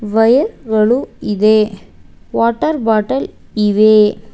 Wire ಗಳು ಇದೆ water bottle ಇವೆ.